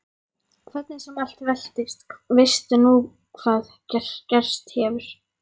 Hvernig sem allt veltist veistu nú hvað gerst hefur.